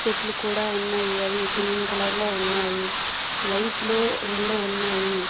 చెట్లు కూడా ఉన్నాయి అవి గ్రీన్ కలర్ లో ఉన్నాయి లైట్లు రొండు ఉన్నాయి.